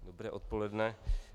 Dobré odpoledne.